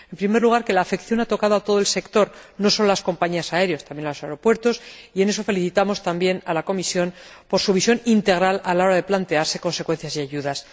En primer lugar, que esta crisis ha afectado a todo el sector, no solo a las compañías aéreas, también a los aeropuertos, y en eso felicitamos también a la Comisión por su visión integral a la hora de plantearse consecuencias y ayudas.